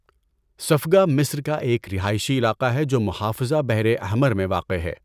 Safaga مصر کا ایک رہائشی علاقہ ہے جو محافظہ بحر احمر میں واقع ہے۔